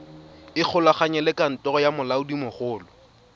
ikgolaganye le kantoro ya molaodimogolo